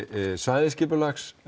svæðisskipulags